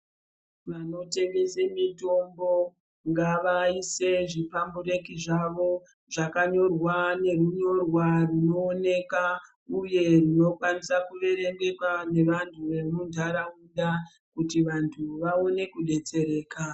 Vano tengese mitombo ngava ise zvi pambureki zvavo zvaka nyorwa ne hunyorwa runo oneka uye rwuno kwanisa ku verengeka ne vantu vemu ndaraunda kuti vantu vaone kudetsereka.